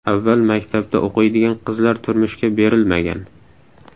Avval maktabda o‘qiydigan qizlar turmushga berilmagan.